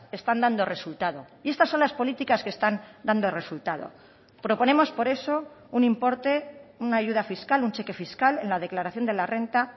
están dando resultado y estas son las políticas que están dando resultado proponemos por eso un importe una ayuda fiscal un cheque fiscal en la declaración de la renta